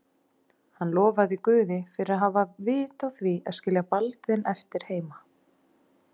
Hann lofaði Guð fyrir að hafa haft vit á því að skilja Baldvin eftir heima.